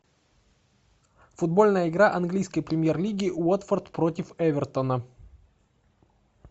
футбольная игра английской премьер лиги уотфорд против эвертона